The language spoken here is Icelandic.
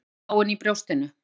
Orðin öll dáin í brjóstinu.